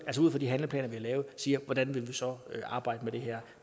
de handleplaner vi har lavet og siger hvordan vil vi så arbejde med det her